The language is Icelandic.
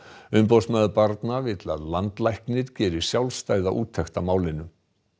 umboðsmaður barna vill að landlæknir geri sjálfstæða úttekt á málinu